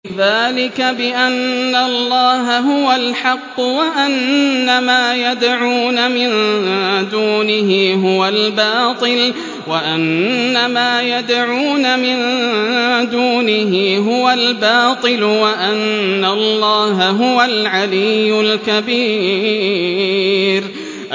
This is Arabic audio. ذَٰلِكَ بِأَنَّ اللَّهَ هُوَ الْحَقُّ وَأَنَّ مَا يَدْعُونَ مِن دُونِهِ هُوَ الْبَاطِلُ وَأَنَّ اللَّهَ هُوَ الْعَلِيُّ الْكَبِيرُ